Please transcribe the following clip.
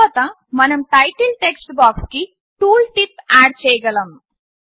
తర్వాత మనం title text బాక్స్కి టూల్ టిప్ ఆడ్ చేయగలము